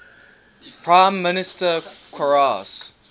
prime minister qarase